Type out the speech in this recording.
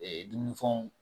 dumunifɛnw